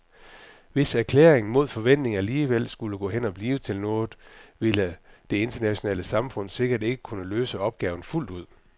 Hvis erklæringen mod forventning alligevel skulle gå hen og blive til noget, ville det internationale samfund sikkert ikke kunne løse opgaven fuldt ud.